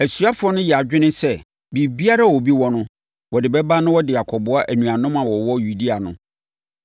Asuafoɔ no yɛɛ adwene sɛ biribiara a obi wɔ no wɔde bɛba na wɔde akɔboa anuanom a wɔwɔ Yudea no.